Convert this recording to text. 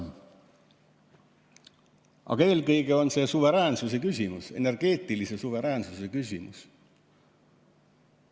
Aga eelkõige on see suveräänsuse küsimus, energeetilise suveräänsuse küsimus.